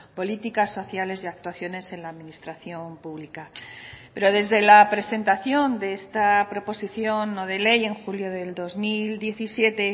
políticas sociales y actuaciones en la administración pública pero desde la presentación de esta proposición no de ley en julio del dos mil diecisiete